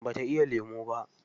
Ba ta iya lemu ba.